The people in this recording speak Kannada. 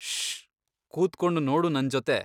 ಶ್ಶ್..! ಕೂತ್ಕೊಂಡು ನೋಡು ನಂಜೊತೆ.